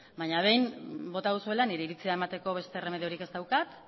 baina behin bota duzuela nire iritzia emateko beste erremediorik ez daukat